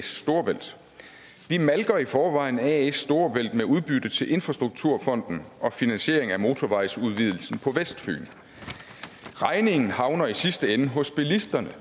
storebælt vi malker i forvejen as storebælt med udbytte til infrastrukturfonden og finansiering af motorvejsudvidelsen på vestfyn regningen havner i sidste ende hos bilisterne